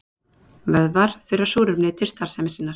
vöðvar þurfa súrefni til starfsemi sinnar